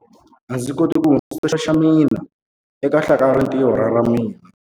A ndzi koti ku hundzisa xingwavila xa mina eka hlakalarintiho ra ra mina.